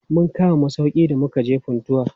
Mun kama masauƙi da mukaje Funtua.